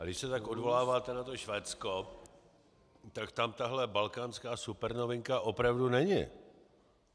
A když se tak odvoláváte na to Švédsko, tak tam tahle balkánská supernovinka opravdu není.